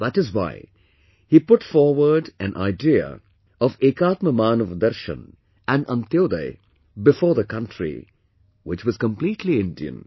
That is why, he put forward an idea of 'Ekatma Manavdarshan' and 'Antyodaya' before the country which was completely Indian